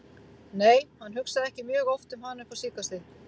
Nei, hann hugsaði ekki mjög oft um hana upp á síðkastið.